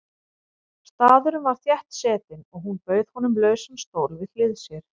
Staðurinn var þéttsetinn og hún bauð honum lausan stól við hlið sér.